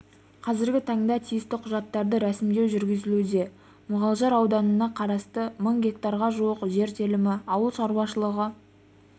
қазіргі таңда тиісті құжаттарды рәсімдеу жүргізілуде мұғалжар ауданына қарасты мың гектарға жуық жер телімі ауыл шаруашылығы